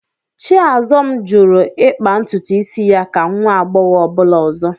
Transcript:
Chiazọm jụrụ ịkpa ntutu isi ya ka nwa agbọghọ ọbụla ọzọ